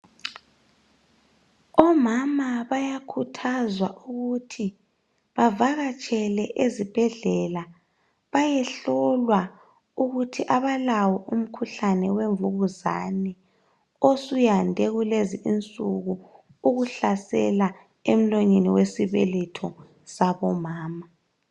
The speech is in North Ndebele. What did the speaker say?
omama bayakhuthazwa ukuthi bevakatshele esibhedlela beyehlolwa ukuthi abalawo umkhuhlane wemvukuzane osuyande kulezi insuku ukuhlasela emlonyeni wesibeletho sabomama